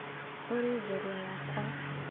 "Ũrĩ njorua yakwa!